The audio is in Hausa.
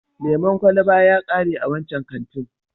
Lemon kwalaba ya kare a wancan kantin.